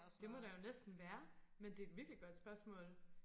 det må der jo næsten være men det er et virkelig godt spørgsmål